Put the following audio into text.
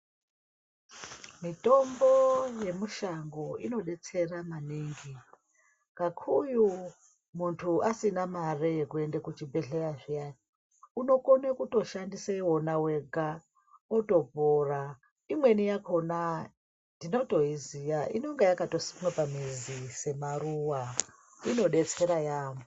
Mitombo yemushango inodetsera maningi kakuyu muntu asina mare yekuenda kuchibhedhlera zviyana unokone kutoshandisa wona wega otopora , imweni yakona tinotoiziya inenge yakatosimwa pamuzi semaruwa , inodetsera yamho.